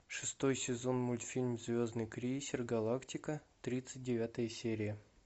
шестой сезон мультфильм звездный крейсер галактика тридцать девятая серия